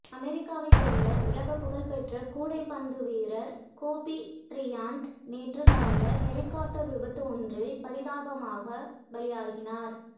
அமெரிக்காவை சேர்ந்த உலகப்புகழ் பெற்ற கூடைப்பந்து வீரர் கோபி பிரையன்ட் நேற்று நடந்த ஹெலிகாப்டர் விபத்து ஒன்றில் பரிதாபமாக பலியானார்